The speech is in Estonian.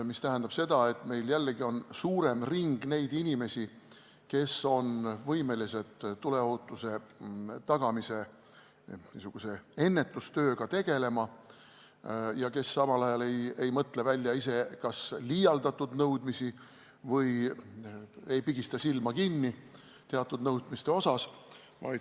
See tähendab seda, et meil on suurem ring neid inimesi, kes on võimelised tuleohutuse tagamise ennetustööga tegelema ja kes samal ajal ei mõtle välja ise kas liialdatud nõudmisi ega pigista silma kinni teatud nõudmiste osas.